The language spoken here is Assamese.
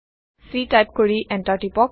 c টাইপ কৰি এণ্টাৰ টিপক